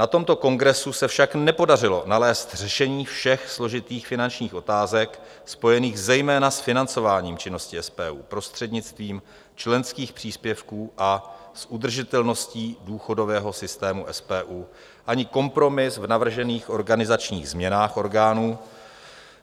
Na tomto kongresu se však nepodařilo nalézt řešení všech složitých finančních otázek spojených zejména s financováním činností SPU prostřednictvím členských příspěvků a s udržitelností důchodového systému SPU ani kompromis v navržených organizačních změnách orgánů